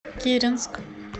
киренск